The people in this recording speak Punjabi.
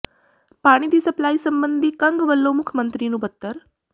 ਪਾਣੀ ਦੀ ਸਪਲਾਈ ਸਬੰਧੀ ਕੰਗ ਵੱਲੋਂ ਮੁੱਖ ਮੰਤਰੀ ਨੂੰ ਪੱਤਰ